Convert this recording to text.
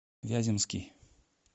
вяземский